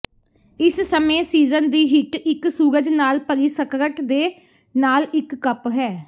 ਇਸ ਸਮੇਂ ਸੀਜ਼ਨ ਦੀ ਹਿੱਟ ਇੱਕ ਸੂਰਜ ਨਾਲ ਭਰੀ ਸਕਰਟ ਦੇ ਨਾਲ ਇੱਕ ਕੱਪ ਹੈ